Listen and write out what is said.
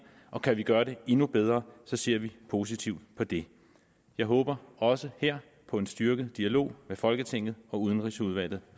og kan vi gøre det endnu bedre så ser vi positivt på det jeg håber også her på en styrket dialog med folketinget og udenrigsudvalget